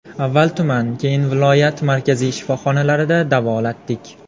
Avval tuman keyin viloyat markaziy shifoxonalarida davolatdik.